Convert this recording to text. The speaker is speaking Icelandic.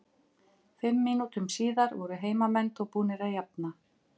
Fimm mínútum síðar voru heimamenn þó búnir að jafna.